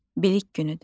Bilik günüdür.